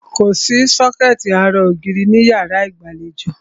Kòsí sọ́kẹ̀tì ara ògiri ní ìyárá ìgbàlejò.